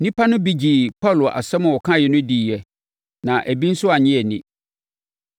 Nnipa no bi gyee Paulo asɛm a ɔkaeɛ no diiɛ na ebi nso annye anni.